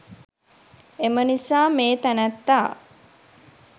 එම නිසා මේ තැනැත්තා